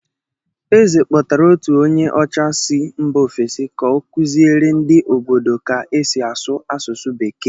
Eze kpọtara otu onye ọcha si mba ofesi ka ọ kụziere ndị obodo ka esi asụ asụsụ Bekee.